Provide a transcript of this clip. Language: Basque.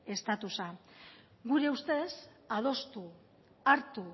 estatusa gure ustez adostu hartu